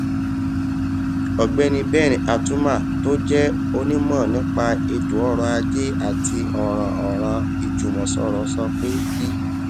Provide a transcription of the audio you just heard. ògbéni ben atuma tó jé onímò nípa ètò ọrọ ajé àti òràn òràn ìjùmòsòrò sọ pé bí